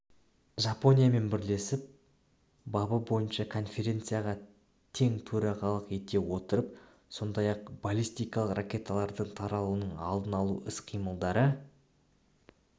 жапониямен бірлесіп бабы бойынша конференцияға тең төрағалық ете отырып сондай-ақ баллистикалық ракеталардың таралуының алдын алу іс-қимылдары